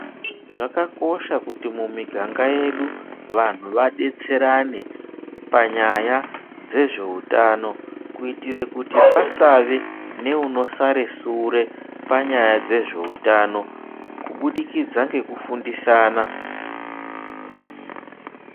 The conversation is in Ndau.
Zvakakosha kuti mumiganga yedu vanhu vadetserane panyaya dzezveutano, kuitire kuti pasave neunosare sure panyaya dzezveutano kubudikidza ngeku fundisana.